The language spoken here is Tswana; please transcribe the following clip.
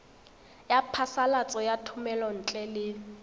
ya phasalatso ya thomelontle le